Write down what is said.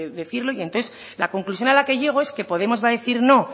decirlo y entonces la conclusión a la que llego es que podemos va a decir no